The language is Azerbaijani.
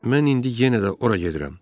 Mən indi yenə də ora gedirəm.